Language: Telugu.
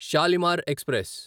షాలిమార్ ఎక్స్ప్రెస్